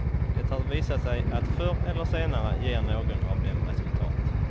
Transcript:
Det har visat sig att förr eller senare ger någon av dem resultat.